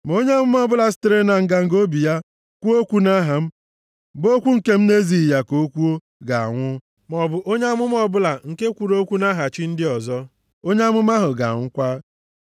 Ma onye amụma ọbụla sitere na nganga obi ya kwuo okwu nʼaha m, bụ okwu nke m na-ezighị ya ka o kwuo, ga-anwụ, maọbụ onye amụma ọbụla nke kwuru okwu nʼaha chi ndị ọzọ, onye amụma ahụ ga-anwụkwa.”